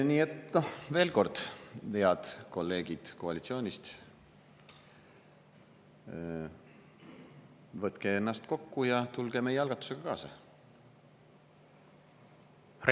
Nii et veel kord, head kolleegid koalitsioonist, võtke ennast kokku ja tulge meie algatusega kaasa!